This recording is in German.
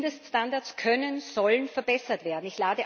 Mindeststandards können, sollen verbessert werden.